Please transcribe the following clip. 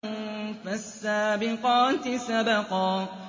فَالسَّابِقَاتِ سَبْقًا